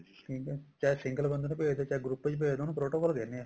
ਠੀਕ ਹੈ ਚਾਹੇ single ਬੰਦੇ ਨੂੰ ਭੇਜਦੋ ਚਾਹੇ group ਚ ਭੇਜਦੋ ਉਹਨੂੰ protocol ਕਹਿੰਦੇ ਆ